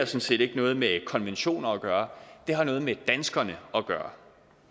set ikke noget med konventioner at gøre det har noget med danskerne at gøre